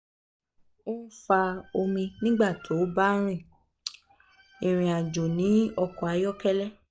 o n fa omi nigba ti o ba um rin um irin-ajo ni ọkọ um ayọkẹlẹ